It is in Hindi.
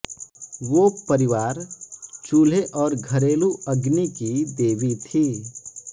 वो परिवार चूल्हे और घरेलू अग्नि की देवी थीं